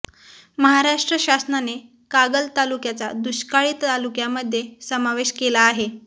महाराष्ट्र शासनाने कागल तालुक्याचा दुष्काळी तालुक्यामध्ये समावेश केला आहे